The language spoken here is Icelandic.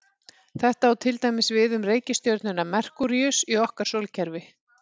Þetta á til dæmis við um reikistjörnuna Merkúríus í okkar sólkerfi.